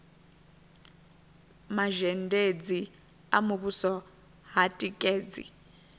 mazhendedzi a muvhuso ha tikedzi